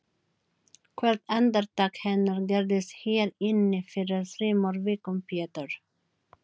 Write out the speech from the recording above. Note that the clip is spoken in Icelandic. Hann fór óðslega að og skelfing mín var algjör.